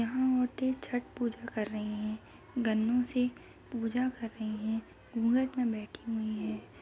यहां औरतें छठ पूजा कर रही हैं गन्नों से पूजा कर रही हैं घूंघट में बैठी हुई हैं |